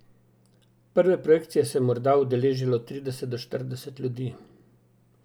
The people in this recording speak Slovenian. Prve projekcije se je morda udeležilo trideset ali štirideset ljudi.